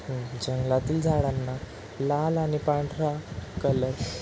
हम्म जंगलातील झाडांना लाल आणि पांढरा कलर --